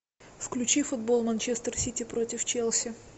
включи футбол манчестер сити против челси